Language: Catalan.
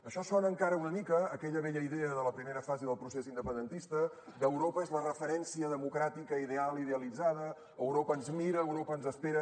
això sona encara una mica a aquella vella idea de la primera fase del procés independentista d’ europa és la referència democràtica ideal i idealitzada europa ens mira europa ens espera